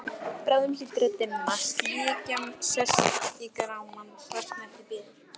Bráðum hlýtur að dimma, slikja sest í grámann, svartnættið bíður.